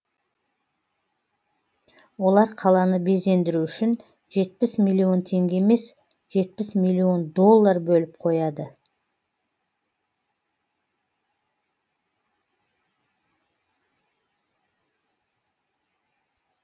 олар қаланы безендіру үшін жетпіс миллион теңге емес жетпіс миллион доллар бөліп қояды